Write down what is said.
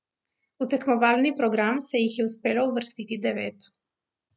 V tekmovalni program se jih je uspelo uvrstiti devet.